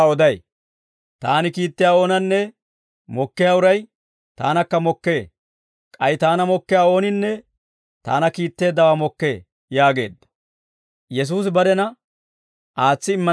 Taani hinttenttoo tumuwaa oday; Taani kiittiyaa oonanne mokkiyaa uray taanakka mokkee; k'ay Taana mokkiyaa ooninne Taana kiitteeddawaa mokkee» yaageedda.